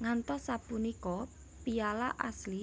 Ngantos sapunika piala asli